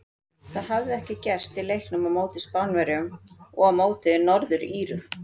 Það hafði ekki gerst í leiknum á móti Spánverjum og á móti Norður Írum.